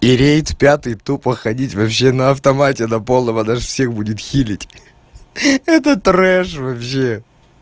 и рейд пятый тупо ходить вообще на автомате на полном она же всех будет лечить это бардак вообще